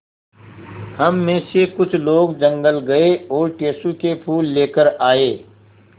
हम मे से कुछ लोग जंगल गये और टेसु के फूल लेकर आये